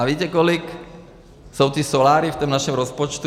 A víte, kolik jsou ty soláry v tom našem rozpočtu?